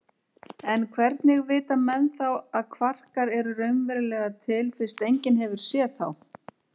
En hvernig vita menn þá að kvarkar eru raunverulega til fyrst enginn hefur séð þá?